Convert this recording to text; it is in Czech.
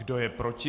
Kdo je proti?